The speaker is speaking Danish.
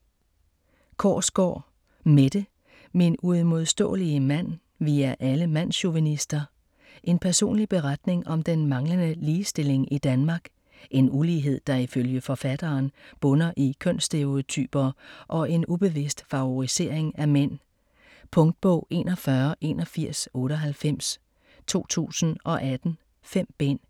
Korsgaard, Mette: Min uimodståelige mand: vi er alle mandschauvinister En personlig beretning om den manglende ligestilling i Danmark. En ulighed der ifølge forfatteren bunder i kønsstereotyper og en ubevidst favorisering af mænd. Punktbog 418198 2018. 5 bind.